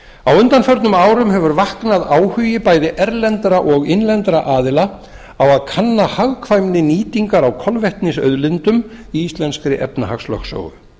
á undanförnum árum hefur vaknað áhugi bæði erlendra sem og innlendra aðila á að kanna hagkvæmni nýtingar á kolvetnisauðlindum í íslenskri efnahagslögsögu